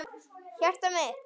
Hjartað mitt,